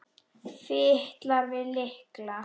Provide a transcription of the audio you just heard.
Fitlar við lykla.